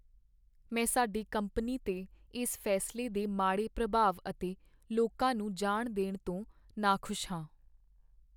ਮੈਂ ਸਾਡੀ ਕੰਪਨੀ 'ਤੇ ਇਸ ਫੈਸਲੇ ਦੇ ਮਾੜੇ ਪ੍ਰਭਾਵ ਅਤੇ ਲੋਕਾਂ ਨੂੰ ਜਾਣ ਦੇਣ ਤੋਂ ਨਾਖੁਸ਼ ਹਾਂ।